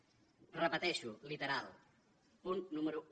ho repeteixo literal punt número un